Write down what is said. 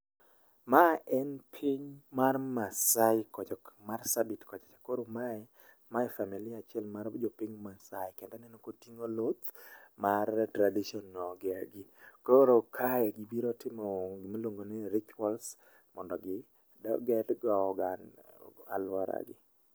Ma en piny mar masai kocha masabit kocha cha . Koro ma familia achiel mar jopiny masai kendo aneno koting'o luth mar traditional gi koro kae gibiro timo gimluongo ni rituals mondo aluoragi.